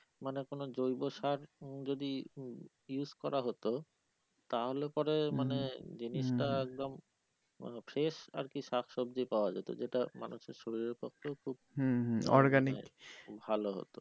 মানে কোন জৈব সার উম যদি use করা হতো তাহলে পরে মানে জিনিস টা একদম মানে fresh আরকি শাক সবজি পাওয়া যেতো যেটা মানুষের শরীরের পক্ষেও খুব ভালো হতো।